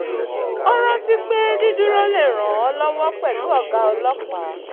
ó rántí pé dídúró lè ràn ọ lọ́wọ́ pẹ̀lú ọ̀gá ọlọ́pàá